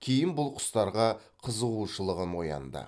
кейін бұл құстарға қызығушылығым оянды